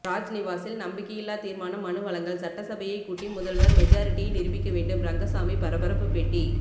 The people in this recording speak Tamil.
ராஜ்நிவாஸில் நம்பிக்கையில்லா தீர்மான மனு வழங்கல் சட்டசபையை கூட்டி முதல்வர் மெஜாரிட்டியை நிரூபிக்க வேண்டும் ரங்கசாமி பரபரப்பு பேட்டி